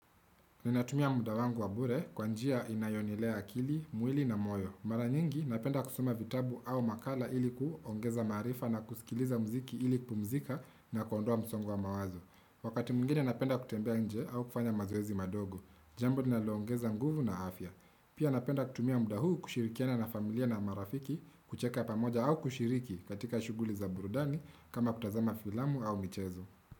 Ninatumia muda wangu wa mbure kwa njia inayonilea akili, mwili na moyo. Mara nyingi, napenda kusoma vitabu au makala ili kuongeza maarifa na kusikiliza mziki ili kpumzika na kondoa msongwa mawazo. Wakati mwingini, napenda kutembea nje au kufanya mazoezi madogo. Jambo ninaloongeza nguvu na afya. Pia napenda kutumia muda huu kushirikiana na familia na marafiki, kucheka pamoja au kushiriki katika shughuli za burudani kama kutazama filamu au mchezo.